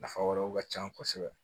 Nafa wɛrɛw ka ca kosɛbɛ